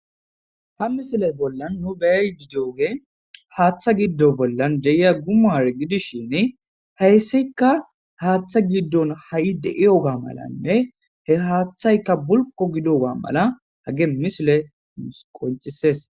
ha misile bollan nu beey gidoge haaththa giddo bollan deya gumare gidishin heyssikka haaththa giddon ha7i de7iyoga malanne he haaththaykka bulko gidoga mala hage misile musqoncisees